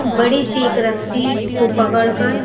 बड़ी-सी एक रस्सी को पकड़ कर --